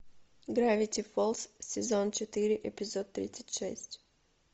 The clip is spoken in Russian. гравити фолз сезон четыре эпизод тридцать шесть